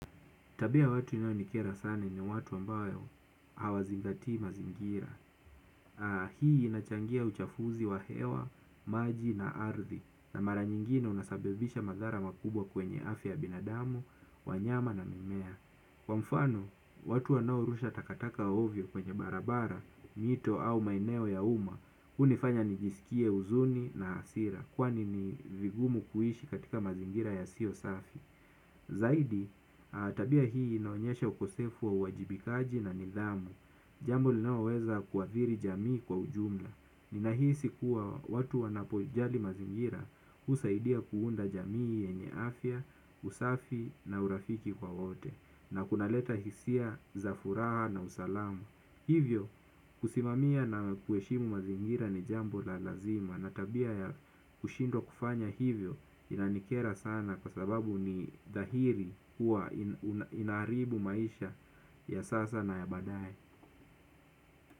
Tabia ya watu inayonikera sana ni watu ambao hawazingati mazingira. Hii inachangia uchafuzi wa hewa, maji na ardhi. Na mara nyingine unasabibisha madhara makubwa kwenye afya binadamu, wanyama na mimea. Kwa mfano, watu wanaorusha takataka ovyo kwenye barabara, mito au maeneo ya uma hunifanya nijskie huzuni na hasira kwani ni vigumu kuishi katika mazingira yasiyo safi. Zaidi, tabia hii inaonyesha ukosefu wa uwajibikaji na nidhamu. Jambo linaloweza kuathiri jamii kwa ujumla ninahisi kuwa watu wanapojali mazingira husaidia kuunda jamii yenye afya, usafi na urafiki kwa wote. Na kunaleta hisia za furaha na usalamu. Hivyo, kusimamia na kuheshimu mazingira ni jambo la lazima. Na tabia ya kushindwa kufanya hivyo inanikera sana kwa sababu ni dhahiri kuwa unaharibu maisha ya sasa na ya baadaye.